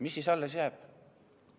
Mis siis alles jääb?